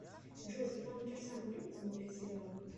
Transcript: джой светлана кирсанова любит смотреть сериалы